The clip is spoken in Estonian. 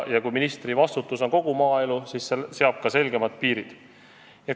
Kui ministri vastutusala on kogu maaelu, siis see seab ka selgemad piirid.